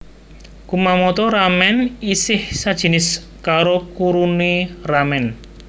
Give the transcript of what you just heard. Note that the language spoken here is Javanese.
Kumamoto ramen isih sajinis karo kurume ramen